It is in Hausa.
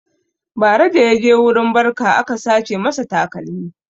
Bara da yaje wurin barka aka sace masa takalmi